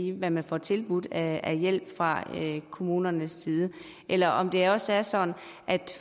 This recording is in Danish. i hvad man får tilbudt af hjælp fra kommunernes side eller om det også er sådan at